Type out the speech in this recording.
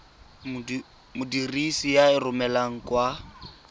modirisi a e romelang kwa